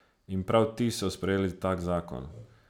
In prav ti so sprejeli tak zakon.